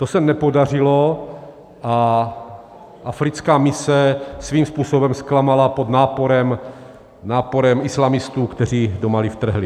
To se nepodařilo a africká mise svým způsobem zklamala pod náporem islamistů, kteří do Mali vtrhli.